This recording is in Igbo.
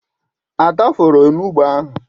Ada fọọrọ onugbụ ahụ.